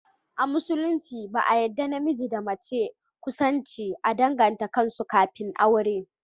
A musulunci ba a yadda namiji da mace kusanci a danganta kansu kafin aure